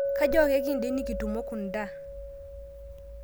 Kajo ake kindim nikutumo kunda